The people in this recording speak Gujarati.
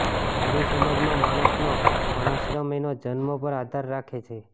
હિંદુ સમાજમાં માણસનો વર્ણાશ્રમ એના જન્મ્ પર આધાર રાખે છે